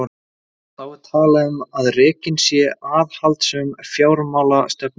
Þá er talað um að rekin sé aðhaldssöm fjármálastefna.